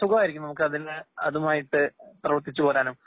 സുകായിരിക്കും നമുക്കതിന് അതുമായിട്ട് പോവാനും